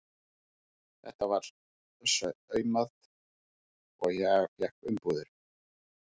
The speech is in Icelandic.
Þetta var saumað og ég fékk umbúðir.